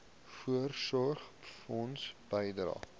voorsorgfonds bydrae